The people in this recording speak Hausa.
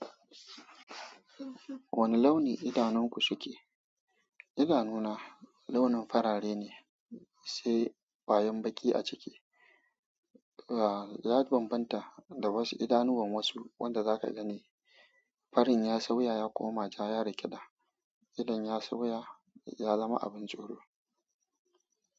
Wane launi idanunku suke? Idanuna launin farare ne, sai kwayan baƙi a ciki. Ya bambanta da wasu idanuwan wasu wanda za ka gani. Farin ya sauya ya koma ja, ya rik'ida idon ya sauya, ya zama abin joro.